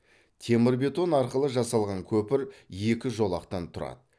темір бетон арқылы жасалған көпір екі жолақтан тұрады